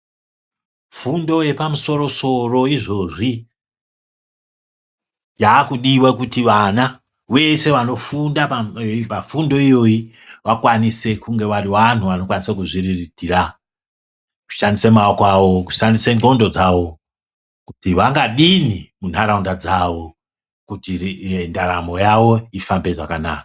Fundo yepamusoro soro izvozvi yakudiwa kuti vana vese vanofunda pafundo iyoyi vakwanise kunge vari vanthu vanokwanise kuzviriritira, kushandise maoko avo kushandise ndxondo dzavo kuti vangadini muntharaunda dzavo kuti ndaramo yavo ifambe zvakanaka.